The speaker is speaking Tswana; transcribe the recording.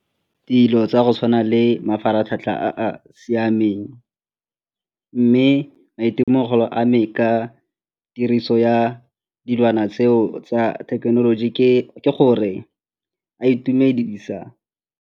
Dilo tsa go tshwana le mafaratlhatlha a a siameng mme maitemogelo a me ka tiriso ya dilwana tseo tsa thekenoloji ke gore a itumedisa.